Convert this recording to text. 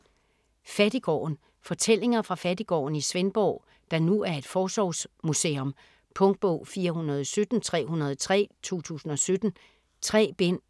Fattiggården Fortællinger fra Fattiggården i Svendborg, der nu er et forsorgsmuseum. Punktbog 417303 2017. 3 bind.